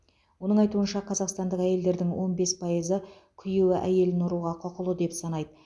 оның айтуынша қазақстандық әйелдердің он бес пайызы күйеуі әйелін ұруға құқылы деп санайды